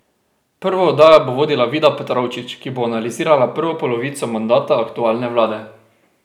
Prvo oddajo bo vodila Vida Petrovčič, ki bo analizirala prvo polovico mandata aktualne vlade.